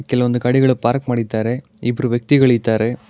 ಕೆಲಒಂದು ಗಾಡಿ ಪಾರ್ಕ್ ಮಾಡಿದ್ದಾರೆ ಇಬ್ಬರು ವ್ಯಕ್ತಿಗಳು ಇದ್ದಾರೆ.